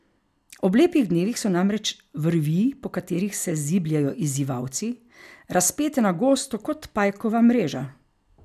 Ob lepih dnevih so namreč vrvi, po katerih se zibljejo izzivalci, razpete na gosto kot pajkova mreža.